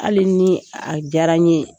Hali ni a jara n ye